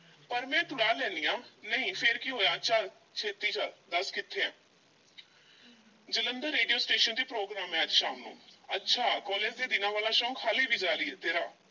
ਪਰ ਮੈਂ ਤੁੜਾ ਲੈਨੀ ਆਂ, ਨਹੀਂ ਫੇਰ ਕੀ ਹੋਇਆ ਚੱਲ ਛੇਤੀ ਚੱਲ, ਦੱਸ ਚੱਲੀ ਕਿੱਥੇ ਆ ਜਲੰਧਰ ਰੇਡੀਓ ਸਟੇਸ਼ਨ ਤੇ ਮੇਰਾ program ਏ ਅੱਜ ਸ਼ਾਮ ਨੂੰ, ਅੱਛਾ college ਦੇ ਦਿਨਾਂ ਵਾਲਾ ਸ਼ੌਕ ਹਾਲੀ ਵੀ ਜਾਰੀ ਏ ਤੇਰਾ।